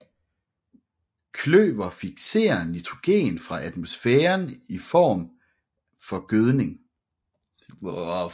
Kløver fikserer nitrogen fra atmosfæren til en form for gødning